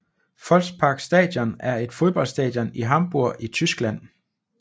Volksparkstadion er et fodboldstadion i Hamburg i Tyskland